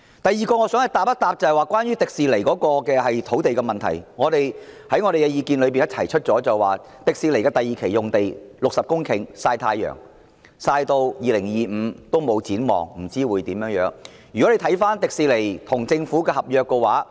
第二，我想回應關於迪士尼樂園的土地問題，我們提出的意見是，樂園合共60公頃的第二期用地正在曬太陽，直至2025年也沒有任何展望，不知道將會如何發展。